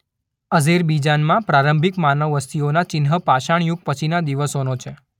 અઝેરબીજાનમાં પ્રારંભિક માનવ વસ્તીઓના ચિહ્ન પાષાણ યુગ પછીના દિવસોનો છે.